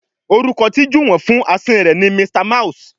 Orúkọ tí Juwon fún Asín rẹ ní Mr mouse.